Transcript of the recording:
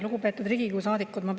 Lugupeetud Riigikogu saadikud!